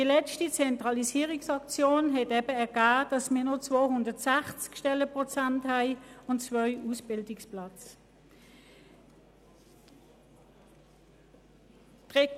Die letzte Zentralisierungsaktion ergab, dass wir, wie gesagt, noch 260 Stellenprozente und zwei Ausbildungsplätze haben.